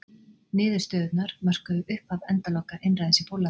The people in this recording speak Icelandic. Niðurstöðurnar mörkuðu upphaf endaloka einræðis í Póllandi.